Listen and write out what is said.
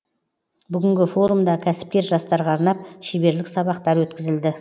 бүгінгі форумда кәсіпкер жастарға арнап шеберлік сабақтар өткізілді